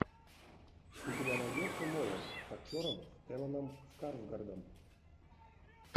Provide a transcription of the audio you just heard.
у тебя найдется молот с актером стелланом скарсгардом